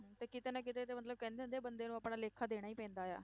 ਤੇ ਕਿਤੇ ਨਾ ਕਿਤੇ ਤੇ ਮਤਲਬ ਕਹਿੰਦੇ ਹੁੰਦੇ ਆ ਬੰਦੇ ਨੂੰ ਆਪਣਾ ਲੇਖਾ ਦੇਣਾ ਹੀ ਪੈਂਦਾ ਆ